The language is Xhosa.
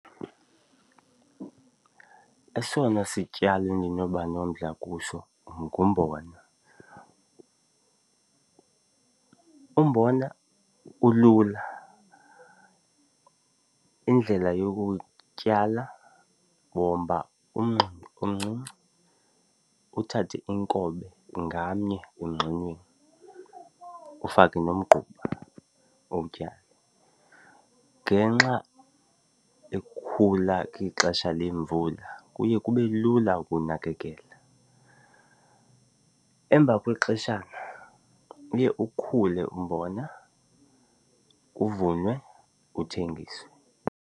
Esona sityalo endinoba nomdla kuso ngumbona. Umbona ulula. Indlela yokuwutyala womba umngxunya omncinci uthathe inkobe ngamnye kumngxunya ufake nomgquba uwutyale. Ngenxa yokukhula kwixesha lemvula kuye kube lula ukuwunakekela. Emva kwexeshana uye ukhule umbona uvunwe uthengiswe.